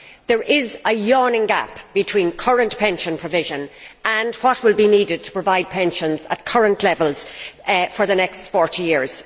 There is a yawning gap between current pension provision and what will be needed to provide pensions at current levels for the next 40 years.